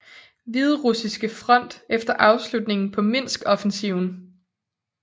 Hviderussiske Front efter afslutningen på Minskoffensiven